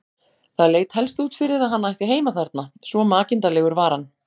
Það leit helst út fyrir að hann ætti heima þarna, svo makinda legur var hann.